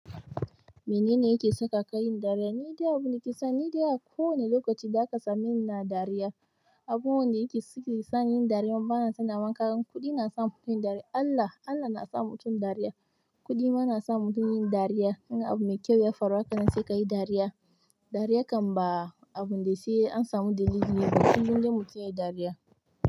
Minene yake sakaka yin dariya? Ni dai abu nake son, ni dai a kowane lokaci zaka same ni ina dariya. Abubuwan da yake sani yin dariya bana son na manta. Kuɗi na sa mutum yin dariya. Allah, Allah na sa mutum dariya. Kuɗi ma na sa mutum yin dariya. In abu mai kyau ya faru haka nan sai kayi dariya. Dariya kan ba abu dai sai an samu dalilin. Kullun dai mutun yayi dariya.